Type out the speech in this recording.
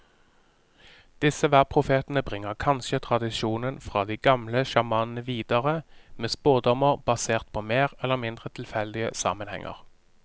Disse værprofetene bringer kanskje tradisjonen fra de gamle sjamanene videre, med spådommer basert på mer eller mindre tilfeldige sammenhenger.